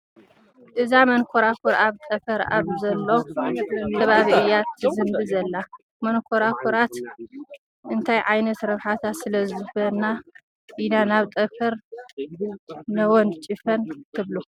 እዛ መንኮራኹር ኣብ ጠፈር ኣብ ዘሎ ከባቢ እያ ትዝምቢ ዘላ፡፡ መንኮራኹራት እንታይ ዓይነት ረብሓታት ስለዝህባና ኢና ናብ ጠፈር ነወንጭፈን ትብሉ?